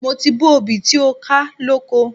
Mo ti bó obì tí ó ká lóko.